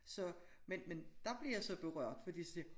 Så men men dér blev jeg så berørt fordi så siger